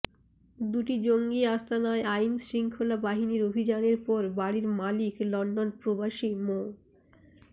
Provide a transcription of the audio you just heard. দুটি জঙ্গি আস্তানায় আইনশৃঙ্খলা বাহিনীর অভিযানের পর বাড়ির মালিক লন্ডন প্রবাসী মো